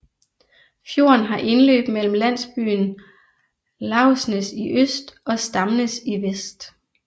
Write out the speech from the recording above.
Fjorden har indløb mellem landsbyen Lauvsnes i øst og Stamnes i vest